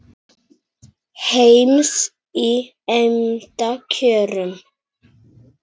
heims í eymda kjörum